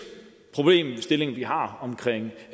problemstillingen vi har